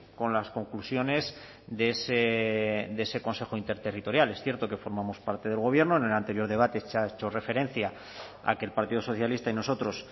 con las conclusiones de ese consejo interterritorial es cierto que formamos parte del gobierno en el anterior debate se ha hecho referencia a que el partido socialista y nosotros